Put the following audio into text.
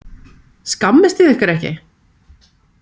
Skammist þið ykkar ekki?